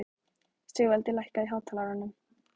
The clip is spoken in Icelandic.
Sigvaldi, lækkaðu í hátalaranum.